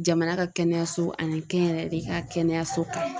Jamana ka kɛnɛyaso ani kɛnyɛrɛye de ka kɛnɛyaso kan.